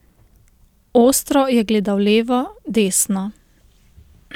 Ostro je gledal levo, desno.